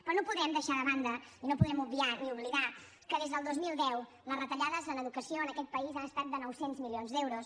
però no podem deixar de banda i no podem obviar ni oblidar que des del dos mil deu les retallades en educació en aquest país han estat de nou cents milions d’euros